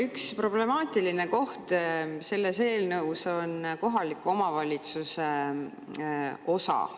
Üks problemaatiline koht selles eelnõus on kohaliku omavalitsuse osa.